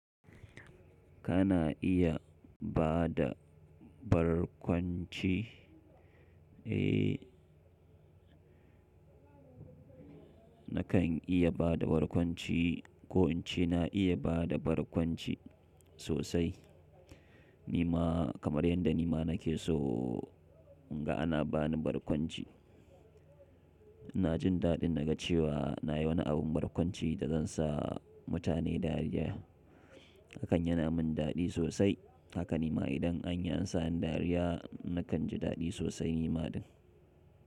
Kana iya ba da barkwanci, eh nakan iya ba da barkwanci ko in ce na iya ba da barkwanci sosai. Ni ma kamar yadda ni ma nake so, inga ana ba ni barkwanci. Ina jin daɗin naga cewa na yi wani abin barkwanci da zan sa mutane dariya, hakan yana min daɗi sosai. Haka ni ma idan anyi an sa ni dariya nakan ji daɗi sosai ni ma din.